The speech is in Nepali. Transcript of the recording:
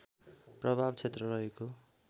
प्रभाव क्षेत्र रहेको